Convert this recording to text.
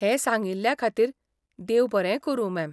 हें सांगिल्ल्याखातीर देव बरें करूं, मॅम.